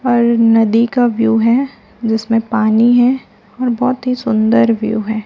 और नदी का व्यू है जिसमें पानी है और बहोत ही सुन्दर व्यू है।